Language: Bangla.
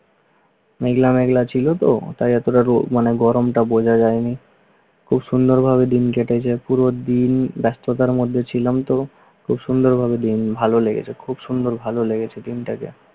মেঘলা মেঘলা ছিল তো তাই এতোটা রোদ মানে গরমটা বোঝা যায়নি। খুব সুন্দরভাবে দিন কেটেছে, পুরো দিন ব্যস্ততার মধ্যের ছিলাম তো খুব সুন্দরভাবে দিন ভালো লেগেছে। খুব সুন্দর ভালো লেগেছে দিনটাকে